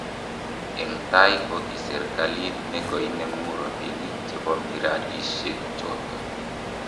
Eng tai ko ki serikalit ne koinemu robinik che bo miradisiechoto.